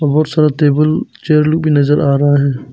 बहुत सारा table chair लोग भी नजर आ रहा है।